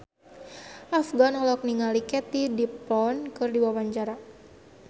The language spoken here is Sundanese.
Afgan olohok ningali Katie Dippold keur diwawancara